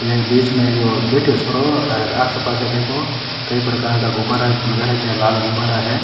एक बीच में एक बैठयो है छोरो हे आस पास देखो कई प्रकार का गुब्बारा लगा राख्या है लाल गुब्बारा है।